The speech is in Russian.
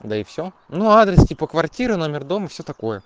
да и всё ну адрес типа квартира номер дом всё такое